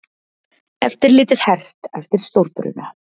Eftirlitið hert eftir stórbruna